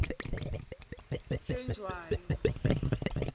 thejawo